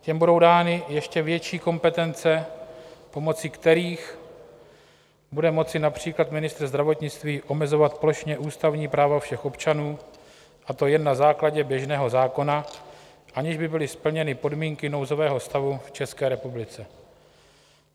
Těm budou dány ještě větší kompetence, pomocí kterých bude moci například ministr zdravotnictví omezovat plošně ústavní práva všech občanů, a to jen na základě běžného zákona, aniž by byly splněny podmínky nouzového stavu v České republice.